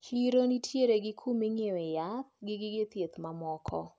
Chiro nitiere gi kuma inyiewe yath gi gige thieth mamoko.